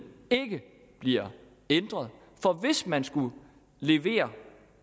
ikke bliver ændret hvis man skulle levere